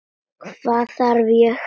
Hvað þarf ég?